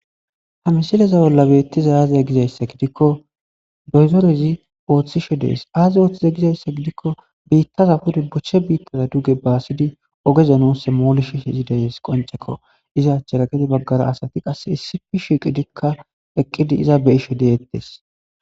ha msileza bolla beettiza aaziya gizayssa gidikko doyzorezi ooththishe dees aaze ooththiza gizayssa gidikko biittaza pude bochche biittaza duge baasidi ogeza nuusse moolesisheshe deyes qoncekko iza achchera gede baggara asati qase issifi shiqidikka eqqidi iza beyishe deyettes